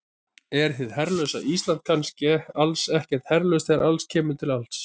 Er hið herlausa Ísland kannski alls ekkert herlaust þegar allt kemur til alls?